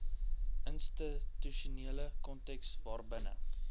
institusionele konteks waarbinne